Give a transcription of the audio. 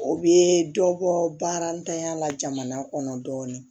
O bɛ dɔ bɔ baara ntanya la jamana kɔnɔ dɔɔnin